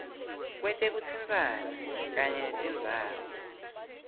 kwetekutsintsana kanye netindzawo